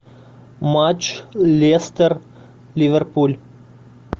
матч лестер ливерпуль